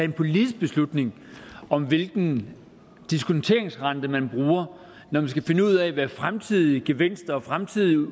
en politisk beslutning om hvilken diskonteringsrente man når man skal finde ud af hvad fremtidige gevinster og fremtidige